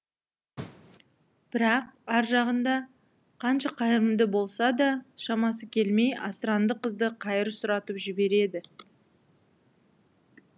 бірақ ар жағында қанша қайырымды болса да шамасы келмей асыранды қызды қайыр сұратып жібереді